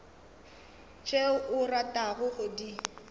tšeo o ratago go di